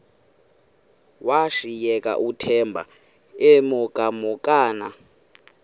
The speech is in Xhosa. washiyeka uthemba emhokamhokana